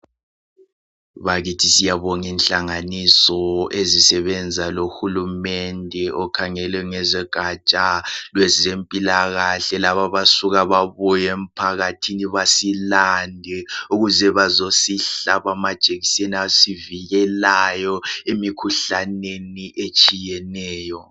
Bakithi siyabong' inhlanganiso ezisebenza lohulumende okhangele ngezogaja lwezempilakahle lab' abasuka babuy' emphakathini basilande ukuze bazosihlab' amajekisen' asivikelayo emikhuhlaneni etshiyeneyo.